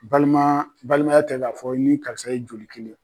Balima balimaya tɛ k'a fɔ i ni karisa ye joli kelen ye.